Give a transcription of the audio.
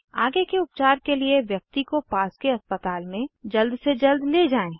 आगे के उपचार के लिए व्यक्ति को पास के अस्पताल में जल्द से जल्द ले जाएँ